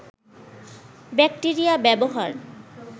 bacteria ব্যবহার